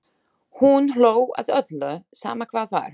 Hún hló að öllu, sama hvað var.